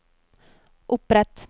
opprett